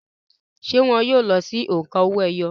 ṣé wọn yóò si lo òǹkà owó-ẹyọ?